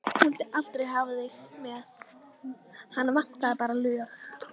Hún vildi aldrei hafa þig með, hana vantaði bara lög.